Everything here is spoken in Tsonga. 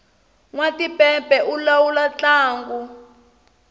nwa timpepe u lawula ntlangu